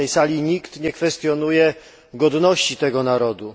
Na tej sali nikt nie kwestionuje godności tego narodu.